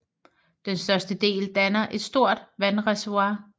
Den største del danner et stort vandreservoir